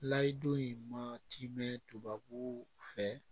Layidu in matimɛ tubabu fɛ